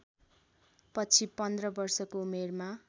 पछि पन्ध्र वर्षको उमेरमा